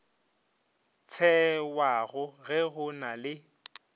tšewago ge go na le